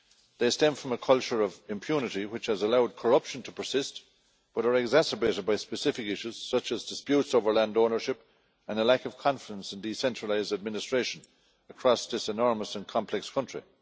They stem from a culture of impunity which has allowed corruption to persist, but are exacerbated by specific issues such as disputes over land ownership and a lack of confidence in decentralised administration across this enormous and complex country.